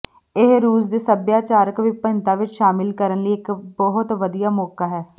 ਇਹ ਰੂਸ ਦੇ ਸਭਿਆਚਾਰਕ ਵਿਭਿੰਨਤਾ ਵਿੱਚ ਸ਼ਾਮਲ ਕਰਨ ਲਈ ਇੱਕ ਬਹੁਤ ਵਧੀਆ ਮੌਕਾ ਹੈ